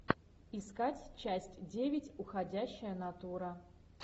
искать часть девять уходящая натура